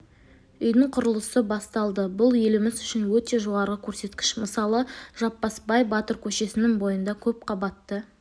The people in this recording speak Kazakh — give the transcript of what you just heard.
үйдің құрылысы басталды бұл еліміз үшін өте жоғары көрсеткіш мысалы жаппасбай батыр көшесінің бойында көпқабатты